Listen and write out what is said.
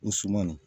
O suman